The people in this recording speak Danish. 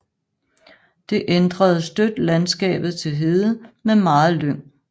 Det ændrede støt landskabet til hede med meget lyng